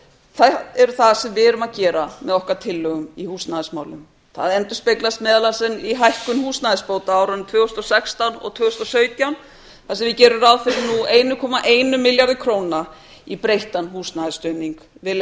þær eru það sem við erum að gera með okkar tillögum í húsnæðismálum það endurspeglast meðal annars í hækkun húsnæðisbóta á árunum tvö þúsund og sextán og tvö þúsund og sautján þar sem við gerum ráð fyrir einum komma einum milljarði króna í breyttan húsnæðisstuðning